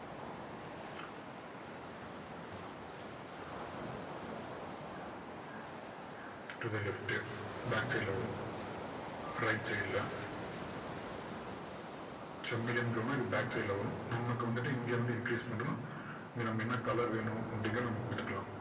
to the left உ back side ல வரும் right side ல so medium glow னா இது back side ல வரும் நமக்கு வந்துட்டு இங்க வந்து increase பண்றோம் இங்க நம்ம என்ன colour வேணும் அப்படிங்கிறதை நம்ம இங்க கொடுத்துக்கலாம்